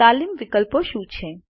તાલીમ વિકલ્પો શું છે